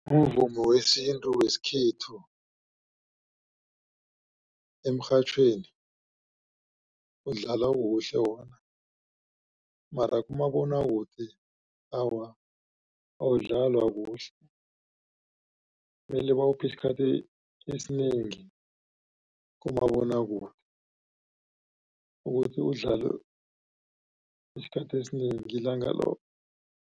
Umvumo wesintu wesikhethu emrhatjhweni udlala kuhle wona. Mara kumabonwakude awa awudlalwa kuhle mele bawuphe isikhathi esinengi kumabonwakude ukuthi udlalwe isikhathi esinengi ilanga loke.